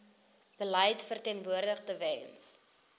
beleid verteenwoordig tewens